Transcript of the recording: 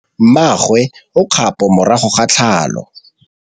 Mmagwe o kgapô morago ga tlhalô.